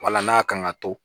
Wala n'a kan ka to